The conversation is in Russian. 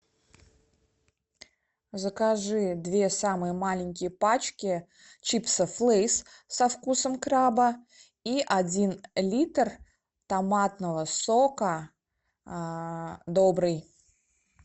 закажи две самые маленькие пачки чипсов лейс со вкусом краба и один литр томатного сока добрый